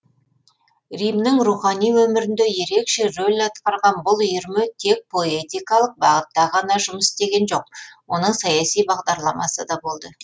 римнің рухани өмірінде ерекше рөл атқарған бұл үйірме тек поэтикалық бағытта ғана жұмыс істеген жоқ оның саяси бағдарламасы да болды